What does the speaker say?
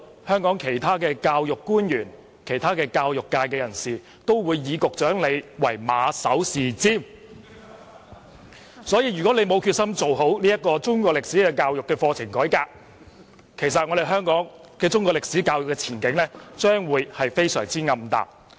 香港其他教育官員和教育界人士均唯局長馬首是瞻，因此，如果局長沒有決心做好中史課程改革，香港的中史教育前景將會非常暗淡。